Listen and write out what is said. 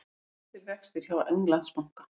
Óbreyttir vextir hjá Englandsbanka